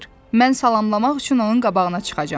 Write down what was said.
Mən salamlamaq üçün onun qabağına çıxacam.